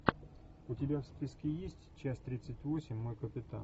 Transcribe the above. у тебя в списке есть часть тридцать восемь мой капитан